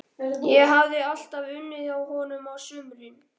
Ég hafði alltaf unnið hjá honum á sumrin.